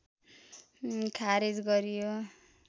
खारेज गरियो